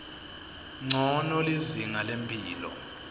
ncono lizinga lemphilo